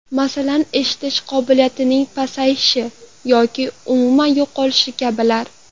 Masalan, eshitish qobiliyatining pasayishi yoki umuman yo‘qolishi kabilar.